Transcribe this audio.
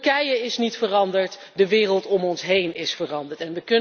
Turkije is niet veranderd, de wereld om ons heen is veranderd.